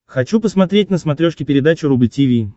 хочу посмотреть на смотрешке передачу рубль ти ви